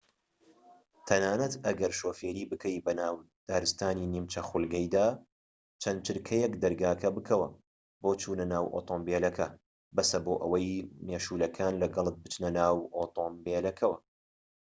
تەنانەت ئەگەر شۆفێری بکەیت بەناو دارستانی نیمچە خولگەییدا چەند چرکەیەك دەرگاکە بکەوە بۆ چونە ناو ئۆتۆمبیلەکە بەسە بۆ ئەوەی مێشولەکان لەگەڵت بچنە ناو ئۆتۆمبیلەکەوە